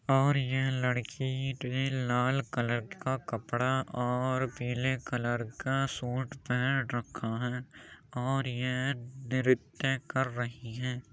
और ये लड़की ने लाल कलर का कपड़ा और पीले कलर का सूट पहन रखा है और ये नृत्य कर रही है।